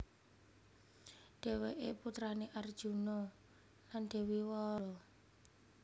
Dhèwèké putrané Arjuna lan Dèwi Wara Sembadra